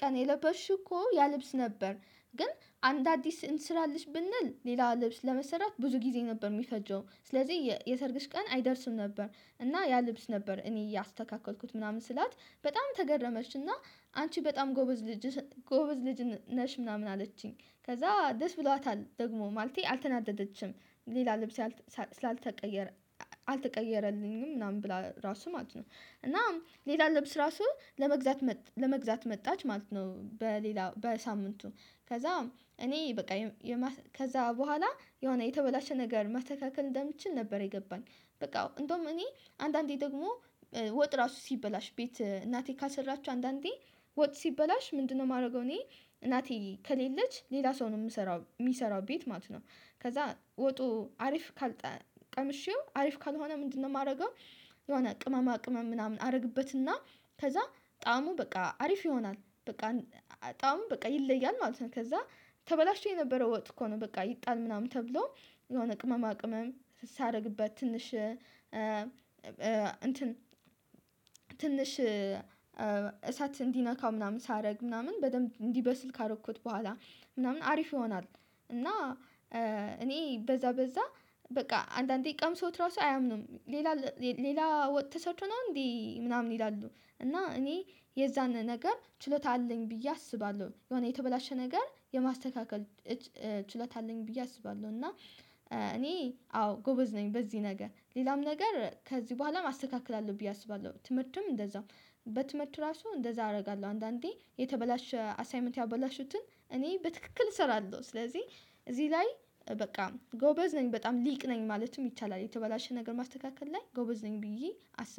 ቀን የለበሽው እኮ ያ ልብስ ነበር። ግን አንድ አዲስ እንስራለሽ ብንል ሌላ ልብስ ለመሰራት ብዙ ጊዜ ነበር የሚፈጀው ስለዚህ የሰርግሽ ቀን አይደርስም ነበር እና ያ ልብስ ነበር እኔ ያስተካከልኩት ምናምን ስላት በጣም ተገረመችና አንቺ በጣም ጎበዝ ልጅ ጎበዝ ልጅ ነሽ ምናምን አለችኝ። ከዛ ደስ ብሏታል ደግሞ ማለቴ አልተናደደችም ሌላ ልብስ ስላልተቀየረ አልተቀየረልኝም ምናምን ብላ ራሱ ማለት ነው እና ሌላ ልብስ ራሱ ለመግዛት ለመግዛት መጣች ማለት ነው። በሌላ በሳምንቱ ከዛም እኔ በቃ ከዛ በኋላ የሆነ የተበላሸ ነገር ማስተካከል እንደምችል ነበር የገባኝ በቃ እንደውም እኔ አንዳንዴ ደግሞ ወጥ ራሱ ሲበላሽ ቤት እናቴ ካልሰራችው አንዳንዴ ወጥ ሲበላሽ ምንድነው የማደርገው እኔ እናቴ ከሌለች ሌላ ሰው ነው የምሰራው የሚሰራው ቤት ማለት ነው። ከዛ ወጡ አሪፍ ካል ቀመሸው አሪፍ ካልሆነ ምንድነው የማደርገው? የሆነ ቅመማ ቅመም ምናምን አድርግበትና ከዛ ጠአሙ በቃ አሪፍ ይሆናል በቃ ጠአሙ በቃ ይለያል ማለት ነው። ከዛ ተበላሽቶ የነበረው ወጥ እኮ ነው በቃ ይጣል ምናምን ተብሎ የሆነ ቅመማ ቅመም ሳደርግበት ትንሽ እሳት እንዲነካው ምናምን ሳደርግ ምናምን በደንብ እንዲበስል ካደረኩት በኋላ ምናምን አሪፍ ይሆናል። እና እኔ በዛ በዛ በቃ አንዳንዴ ቀምሰውት ራሱ አያምኑም ሌላ ሌላ ወጥ ተሰርቶ ነው እንዴ ምናምን ይላሉ። እና እኔ የዛን ነገር ችሎታ አለኝ ብዬ አስባለሁ የሆነ የተበላሸ ነገር የማስተካከል ችሎታ አለኝ ብዬ አስባለሁ። እና እኔ አዎ ጎበዝ ነኝ በዚህ ነገር ሌላም ነገር ከዚህ በኋላም አስተካክላለሁ ብዬ አስባለሁ። ትምህርትም እንደዛው በትምህርት ራሱ እንደዛ አደርጋለሁ አንዳንዴ የተበላሸ አሳይመንት ያበላሹትን እኔ በትክክል እሰራለሁ ስለዚህ እዚህ ላይ በቃ ጎበዝ ነኝ በጣም ሊቅ ነኝ ማለትም ይቻላል የተበላሸ ነገር ማስተካከል ላይ ጎበዝ ነኝ። ብዬ አስባለሁ